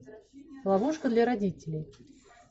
ловушка для родителей